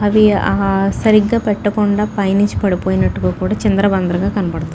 ఇవి ఆ సరిగ్గా పెట్టకుండా పైనుంచి పడిపోయినట్టుగా కూడా చిందరవందరగా కనపడతావుంది